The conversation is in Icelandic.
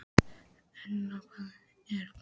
Unna, hvað er klukkan?